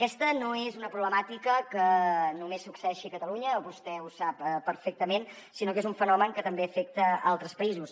aquesta no és una problemàtica que només succeeixi a catalunya vostè ho sap perfectament sinó que és un fenomen que també afecta altres països